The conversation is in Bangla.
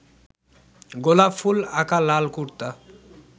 গোলাপ ফুল আঁকা লাল কুর্তা